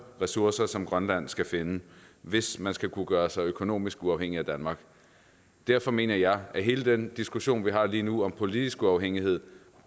ressourcer som grønland skal finde hvis man skal kunne gøres økonomisk uafhængig af danmark derfor mener jeg at hele den diskussion vi har lige nu om politisk uafhængighed